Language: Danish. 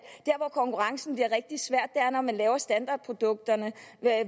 konkurrencen bliver rigtig svær er man laver standardprodukter der